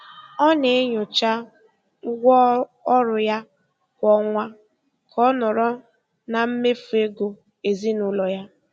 Ọ na-enyocha ụgwọ ọrụ ya kwa ọnwa ka ọ nọrọ na mmefu ego ezinụlọ ya.